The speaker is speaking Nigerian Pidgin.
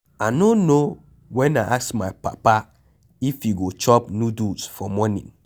I no know when I ask my papa if he go chop noodles for morning.